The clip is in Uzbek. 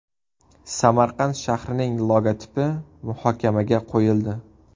Samarqand shahrining logotipi muhokamaga qo‘yildi.